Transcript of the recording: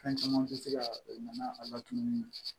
Fɛn caman tɛ se ka na n'a latunu